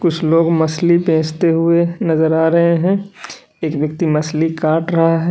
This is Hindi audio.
कुछ लोग मछली बेचते हुए नजर आ रहे हैं एक व्यक्ति मछली काट रहा है।